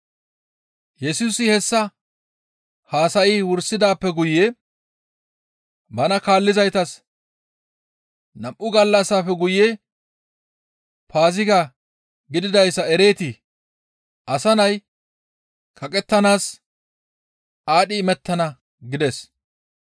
Yesusi hessa haasayi wursidaappe guye bana kaallizaytas, «Nam7u gallassafe guye Paaziga gididayssa ereetii? Asa Nay kaqettanaas aadhdhi imettana» gides.